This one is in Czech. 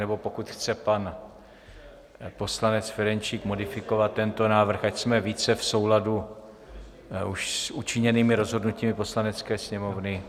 Nebo pokud chce pan poslanec Ferjenčík modifikovat tento návrh, ať jsme více v souladu s už učiněnými rozhodnutími Poslanecké sněmovny?